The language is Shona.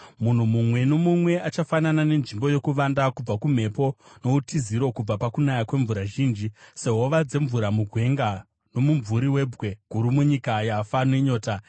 Munhu mumwe nomumwe achafanana nenzvimbo yokuvanda kubva kumhepo, noutiziro kubva pakunaya kwemvura zhinji, sehova dzemvura mugwenga nomumvuri webwe guru munyika yafa nenyota.